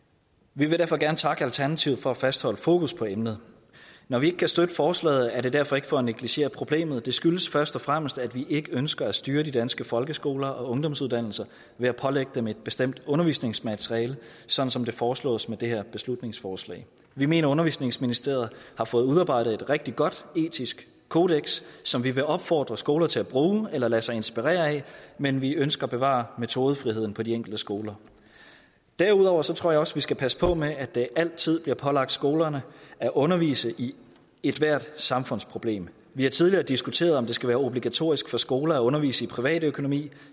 vi vil derfor gerne takke alternativet for at fastholde fokus på emnet når vi ikke kan støtte forslaget er det derfor ikke for at negligere problemet det skyldes først og fremmest at vi ikke ønsker at styre de danske folkeskoler og ungdomsuddannelser ved at pålægge dem et bestemt undervisningsmateriale som som det foreslås med det her beslutningsforslag vi mener at undervisningsministeriet har fået udarbejdet et rigtig godt etisk kodeks som vi vil opfordre skoler til at bruge eller lade sig inspirere af men vi ønsker at bevare metodefriheden på de enkelte skoler derudover tror jeg også vi skal passe på med at det altid bliver pålagt skolerne at undervise i ethvert samfundsproblem vi har tidligere diskuteret om det skal være obligatorisk for skoler at undervise i privatøkonomi